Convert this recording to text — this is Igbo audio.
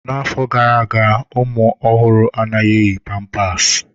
N'afọ gara aga, ụmụ ọhụrụ anaghị eyi pampasi.